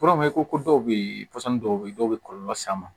ko dɔw bɛ yen pɔsɔnni dɔw bɛ yen dɔw bɛ kɔlɔlɔ s'a ma